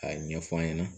A ɲɛfɔ an ɲɛna